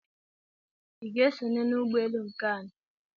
I ga-esonye n'ụgbọelu nke anyị?